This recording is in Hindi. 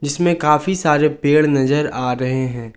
इसमें काफी सारे पेड़ नजर आ रहे हैं।